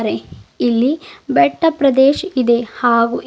ಇಲ್ಲಿ ಬೆಟ್ಟ ಪ್ರದೇಶ್ ಇದೆ ಹಾಗೂ--